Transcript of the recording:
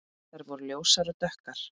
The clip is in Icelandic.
Þær voru ljósar og dökkar.